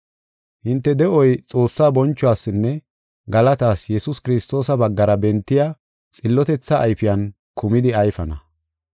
Hinte de7oy Xoossaa bonchuwasinne galatas Yesuus Kiristoosa baggara bentiya xillotethaa ayfiyan kumidi ayfana.